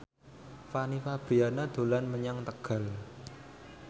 Fanny Fabriana dolan menyang Tegal